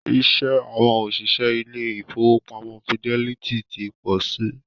Iṣẹ́ àwọn òṣìṣẹ́ ilé ìfọwọ́pamo Fidelity ti pọ si.